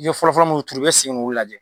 I ye fɔlɔfɔlɔ munnu turu i bi segin k'olu lajɛ